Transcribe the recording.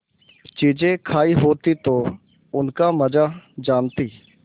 चीजें खायी होती तो उनका मजा जानतीं